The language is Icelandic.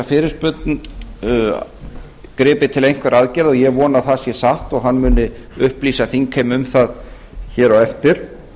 fyrirspurn gripið til einhverra aðgerða ég vona að það sé satt og hann muni upplýsa þingheim um það hér á eftir